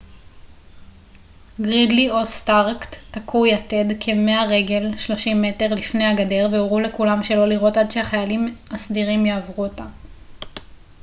גרידלי או סטארק תקעו יתד כ-100 רגל 30 מ' לפני הגדר והורו לכולם שלא לירות עד שהחיילים הסדירים יעברו אותה